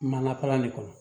Mana kala de kɔnɔ